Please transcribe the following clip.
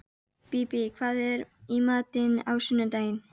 Bíbí, hvað er í matinn á sunnudaginn?